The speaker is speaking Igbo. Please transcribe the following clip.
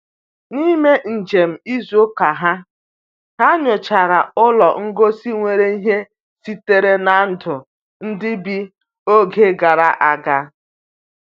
N'ime njem izu ụka ha, ha nyochara ụlọ ngosi nwere ihe sitere na ndụ ndị bi oge gara aga.